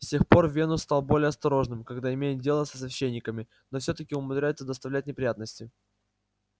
с тех пор венус стал более осторожным когда имеет дело со священниками но всё-таки умудряется доставлять неприятности